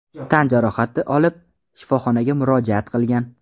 tan jarohati olib, shifoxonaga murojaat qilgan.